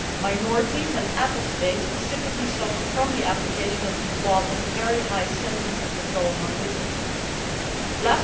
Minorities and apostates specifically suffer from the application of these laws and the very high sentences that go along with them.